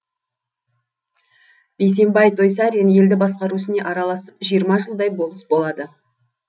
бейсенбай тойсарин елді басқару ісіне араласып жиырма жылдай болыс болады